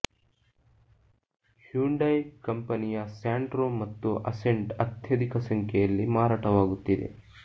Hyundai ಕಂಪನಿಯ Santro ಮತ್ತು Accent ಅತ್ಯಧಿಕ ಸಂಖ್ಯೆಯಲ್ಲಿ ಮಾರಾಟವಾಗುತ್ತಿದೆ